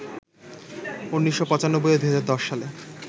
১৯৯৫ ও ২০১০ সালে